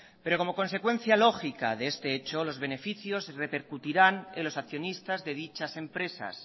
pero como consecuencia lógica de este hecho los beneficios repercutirán en los accionistas de dichas empresas